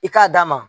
I k'a d'a ma